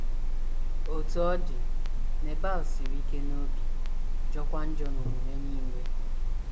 Otú ọ dị, Nebal “ siri ike n’obi, jọọkwa njọ n’omume nile. ”